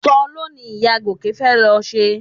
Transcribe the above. Soló ni ìyá Gòkè fẹ́ lọ ṣe